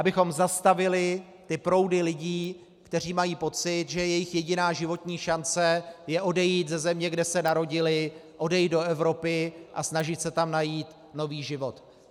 Abychom zastavili ty proudy lidí, kteří mají pocit, že jejich jediná životní šance je odejít ze země, kde se narodili, odejít do Evropy a snažit se tam najít nový život.